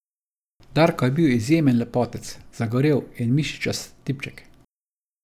Darko je bil izjemen lepotec, zagorel in mišičast tipček.